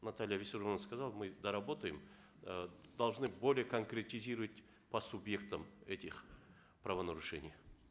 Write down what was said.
наталья виссарионовна сказала мы доработаем э должны более конкретизировать по субъектам этих правонарушений